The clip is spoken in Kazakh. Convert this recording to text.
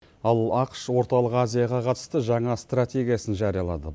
ал ақш орталық азияға қатысты жаңа стратегиясын жариялады